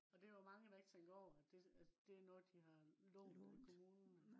og det jo mange der ikke tænker over at det noget de har lånt af kommunen